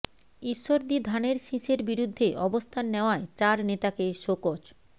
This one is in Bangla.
ঈশ্বরদী ধানের শীষের বিরুদ্ধে অবস্থান নেওয়ায় চার নেতাকে শোকজ